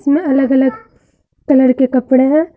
यहां अलग अलग कलर के कपड़े हैं।